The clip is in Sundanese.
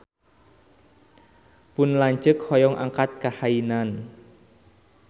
Pun lanceuk hoyong angkat ka Hainan